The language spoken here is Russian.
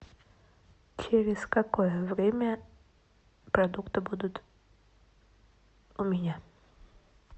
через какое время продукты будут у меня